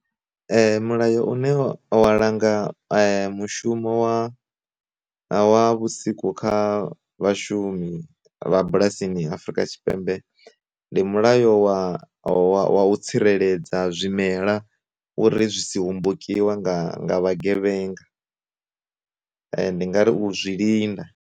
Mulayo une wa langa mushumo wa wa vhusiku kha vhashumi vha bulasini Afrika Tshipembe, ndi mulayo wa wa u tsireledza zwimela uri zwi si hombokiwa nga nga vha gevhenga ndi nga ri u zwi linda.